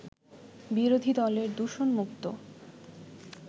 বিরোধী দলের দূষণমুক্ত